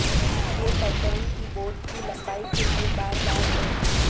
یہ pattern keyboard کی لمبائی کے لئے بار بار ہے